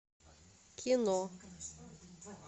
кино